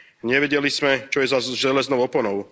Nevedeli sme, čo je za železnou oponou.